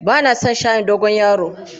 Ba na son shayin dogon yaro.